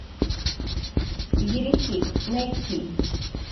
еретик найти